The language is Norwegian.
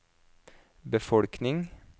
befolkning